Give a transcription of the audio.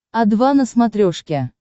о два на смотрешке